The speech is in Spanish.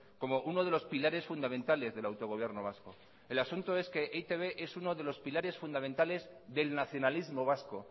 como uno de los pilares fundamentales del autogobierno vasco el asunto es que e i te be es uno de los pilares fundamentales del nacionalismo vasco